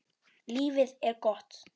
Lífið er gott.